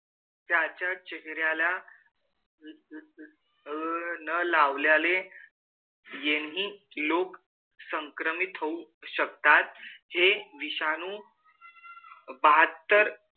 त्याच्या चेहऱ्याला अह न लावल्याने यांनी लोक संक्रमित होऊ शकतात. हे विषाणू बहात्तर,